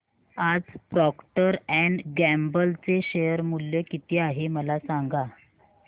आज Procter and Gamble चे share मूल्य किती आहे मला सांगा